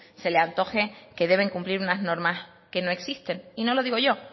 se le antoje que deben de cumplir unas normas que no existen y no lo digo yo